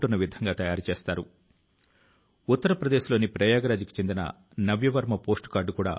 అది కళ కావచ్చు సంగీతం కావచ్చు గ్రాఫిక్ డిజైన్ కావచ్చు సాహిత్యం మొదలైనవి కావచ్చు